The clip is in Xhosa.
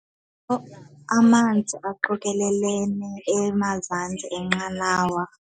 Amanzi aqokelelene emazantsi enqanawa.